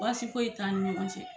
Baasi fo ye t'an ni ɲɔgɔn cɛ.